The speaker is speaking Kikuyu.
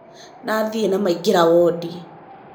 Nathi nĩ maingĩra wondi